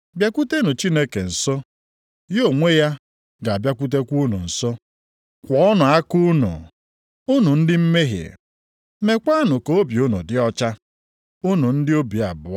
Bịakwutenụ Chineke nso, ya onwe ya ga-abịakwutekwa unu nso. Kwọọnụ aka unu, unu ndị mmehie, meekwanụ ka obi unu dị ọcha, unu ndị obi abụọ.